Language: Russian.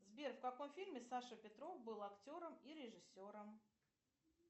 сбер в каком фильме саша петров был актером и режиссером